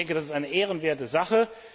Das ist eine ehrenwerte Sache.